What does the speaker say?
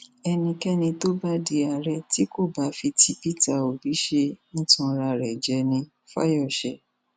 ẹnikẹni tó bá di àárẹ tí kò bá fi ti pété obi ṣe ń tanra rẹ jẹ nifásiyèsè